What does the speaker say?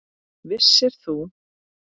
Vissir þú?